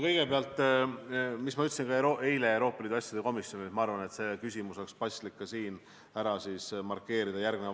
Ma ütlesin seda eile Euroopa Liidu asjade komisjonile ja see küsimus oleks paslik ka järgmise vastusega siin ära markeerida.